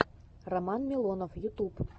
роман милованов ютуб